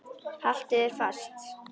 Haltu þér fast.